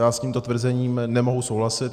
Já s tímto tvrzením nemohu souhlasit.